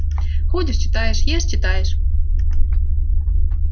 ходишь читаешь ешь читаешь